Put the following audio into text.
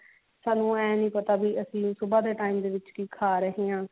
ਸਾਨੂੰ ਇਹ ਨਹੀ ਪਤਾ ਕੀ ਅਸੀਂ ਸੁਭਾ ਦੇ time ਵਿੱਚ ਕੀ ਖਾ ਰਹੇ ਹਾਂ